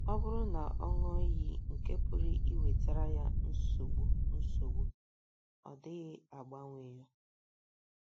Ọ bụrụ na ọ ṅụọ iyi nke pụrụ iwetara ya nsogbu nsogbu, ọ dịghị agbanwe ya....